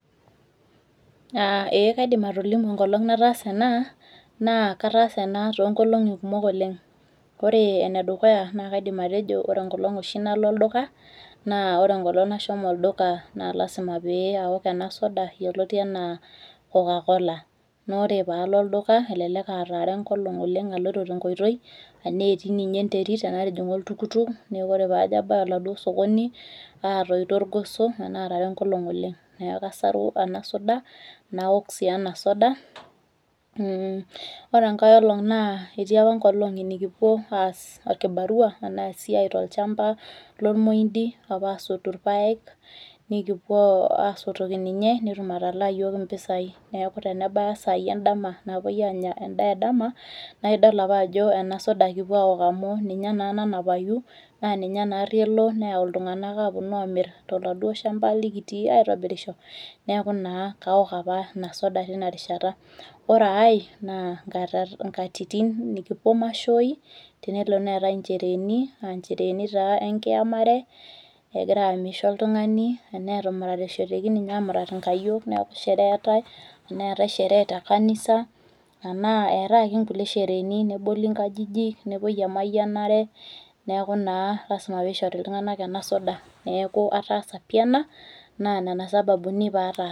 [aah eeh] kaidim atolimu enkolong' nataasa enaa naa kataasa ena toonkolong'i kumok oleng'. Oree enedukuya naa kaidim atejo naa ore oshi nalo olduka naa ore enkolong' nashomo olduka naa lasima pee aok ena soda yoloti anaa kokakola. Noore paalo olduka elelek aatara enkolong' oleng' aloito tenkoitoi anaetii ninye enterit tenatijing'a oltukutuk neaku ore paajo abaya oladuo sokoni aatoito irgoso anaatara enkolong' oleng' neaku asaru enasoda naok sii ena soda. mmh ore enkaeolong naa eti opa nkolong'i nikipuo aas olkibarua anaa esiai tolchamba lomuindi apa asotu irpaek nikupuo asotoki ninye netum atalaa iyiok impisai neaku tenebaya isaai endama naapuoi aanya endaa edama naidol apaajo enasoda kipuo aok amu ninye naa nanapayu naaninye naarrielo neyau iltung'anak aapuonu amirr toladuo shamba likitii aitobirisho neaku naa kaok apa inasoda tinarishata. Oreaai naa nkatat, nkatitin nikipuo mashoi tenelo neetai inchereeni aanchereeni taa enkiamare egiraamisho oltung'ani anaa etumuratishoteki ninye amurat inkayiok neaku sheree eetai teneetai sheree tekanisa anaa eetai ake nkulie shereeni neboli nkajijik, nepuoi emayianare, neaku naa lasima peishori iltung'anak enasoda. Neaku ataasa pii ena naa nena sababuni paataa.